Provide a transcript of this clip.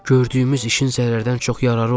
Gördüyümüz işin zərərdən çox yararı oldu.